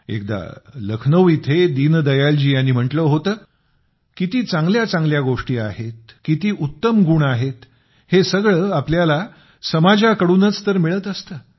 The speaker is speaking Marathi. एकदा लखनौ इथे दीनदयालजी यांनी म्हटले होते किती चांगल्या चांगल्या गोष्टी आहे किती उत्तम गुण आहेत हे सगळे आपल्याला समाजाकडूनच तर मिळत असते